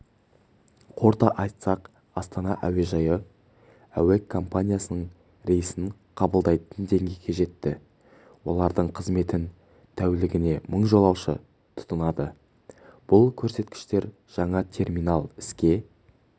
қорыта айтсақ астана әуежайы әуе компаниясының рейсін қабылдайтын деңгейге жетті олардың қызметін тәулігіне мың жолаушы тұтынады бұл көрсеткіштер жаңа терминал іске